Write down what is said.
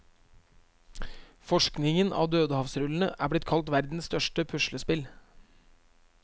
Forskningen av dødehavsrullene er blitt kalt verdens største puslespill.